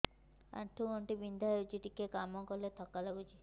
ଆଣ୍ଠୁ ଗଣ୍ଠି ବିନ୍ଧା ହେଉଛି ଟିକେ କାମ କଲେ ଥକ୍କା ଲାଗୁଚି